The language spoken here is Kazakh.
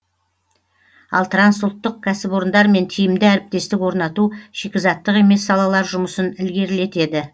ал трансұлттық кәсіпорындармен тиімді әріптестік орнату шикізаттық емес салалар жұмысын ілгерілетеді